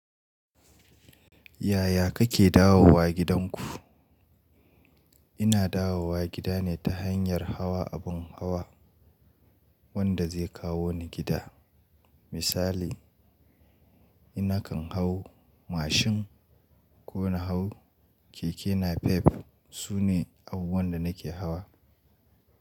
Yaya kake dawowa gidanku? Ina dawowa gida ne ta hanyar hawa abin hawa wanda zai kawo ni gida. Misali, ina kan hau mashin ko na hau keke napep. Su ne abubuwan da nake hawa.